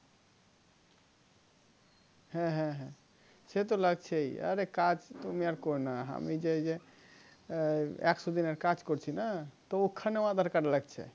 হ্যাঁ হ্যাঁ হ্যাঁ সেতো লাগছেই আরে কাজ আমি আর করিনা আমি যে এই যে একশো দিনের কাজ করছি না তো ওখানে aadhar card লাগছে